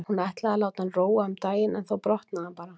Hún ætlaði að láta hann róa um daginn en þá brotnaði hann bara.